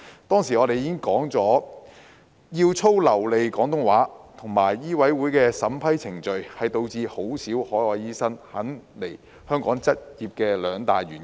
當時我們已經指出，要操流利廣東話的要求和香港醫務委員會的審批程序，是導致很少海外醫生肯來港執業的兩大原因。